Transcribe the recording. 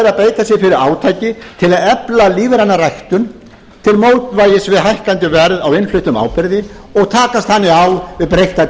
sér fyrir átaki til að efla lífræna ræktun til mótvægis við hækkandi verð á innfluttum áburði og takast þannig á við breytta